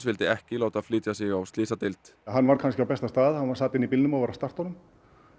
vildi ekki láta flytja sig á slysadeild hann var kannski á besta stað hann sat inni í bílnum og var að starta honum